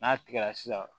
N'a tigɛra sisan